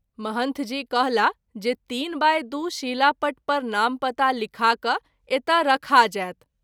महंथ जी कहला जे ३’वाइ २’ शीलापट पर नाम पता लिखा क’ एतय रखा जाएत।